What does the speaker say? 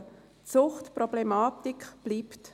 Die Suchtproblematik bleibt.